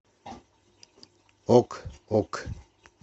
ок ок